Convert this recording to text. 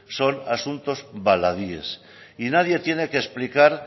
son asuntos baladíes y nadie tiene que explicar